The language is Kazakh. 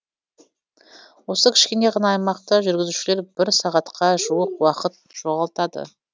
осы кішкене ғана аймақта жүргізушілер бір сағатқа жуық уақыт жоғалтады